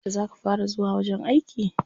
Yauce za ka fara zuwa wajen aiki?